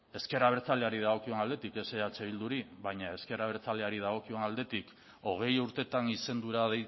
ezker abertzaleari dagokion aldetik ez eh bilduri baina ezker abertzaleari dagokion aldetik hogei urtetan izendura